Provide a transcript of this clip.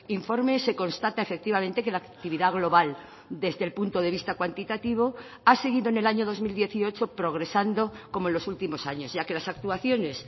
informe se constata efectivamente que la actividad global desde el punto de vista cuantitativo ha seguido en el año dos mil dieciocho progresando como en los últimos años ya que las actuaciones